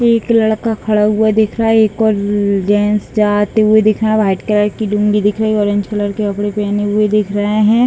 एक लड़का खड़ा हुआ दिख रहा है एक और जेंट्स जाते हुए दिख रहा व्हाइट कलर की लूँगी दिखी रही ऑरेंज कलर के कपड़े पहने हुए दिख रहे है।